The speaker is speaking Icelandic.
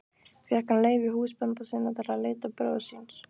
Fékk hann leyfi húsbænda sinna til að leita bróður síns.